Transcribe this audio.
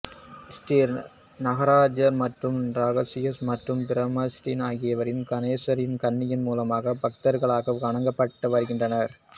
ஸ்ரீ நாகராஜர் மற்றும் நாகயக்ஷி மற்றும் பிரம்மராக்ஷி ஆகியோர் கணேசரின் கன்னி மூலையில் பக்தர்களால் வணங்கப்பட்டு வருகின்றனர்